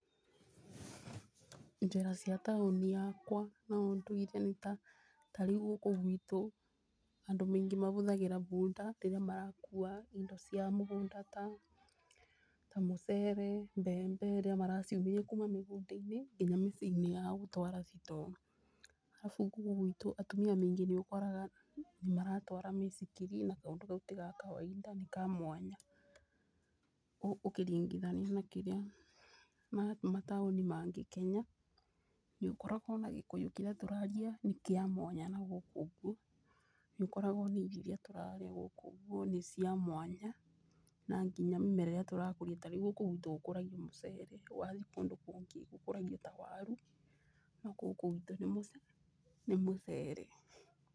Njĩra cia taũni yakwa na ũndũire, ta rĩu gũkũ gwitũ, andũ maingĩ mahũthagĩra bunda rĩrĩa marakua indo cia mũgũnda, ta mũcere, mbembe rĩrĩa maraciumĩria nginya mĩciĩ-inĩ yao gũtwara store. Arabu, gũkũ gwitũ atumia maingĩ nĩũkoraga nĩmatwaraga mĩithikiri, na kaũndũ kau ti ga kawainda nĩ ka mwanya ũkĩringithania na mataũni mangĩ Kenya. Nĩũkoraga ona Gĩkũyũ kĩrĩa tũraria nĩ kĩa mwanya na gũkũ ũguo. Nĩũkoraga ona minji iria tũrarĩa nĩ cia mwanya. Na nginya mĩmera ĩrĩa tũrakũria ta rĩu gũkũ gwitũ gũkũragio mũcere, wathiĩ kũndũ kũngĩ gũkũragio ta waru, no gũkũ gwitũ nĩ mũce, nĩ mũcere.